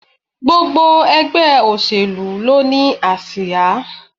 Gbogbo ègbé òṣèlú ló ni àsíá